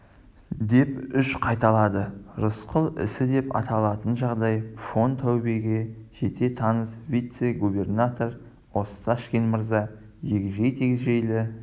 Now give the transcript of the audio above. деп үш қайталады рысқұл ісі деп аталатын жағдай фон таубеге жете таныс вице-губернатор осташкин мырза егжей-тегжейлі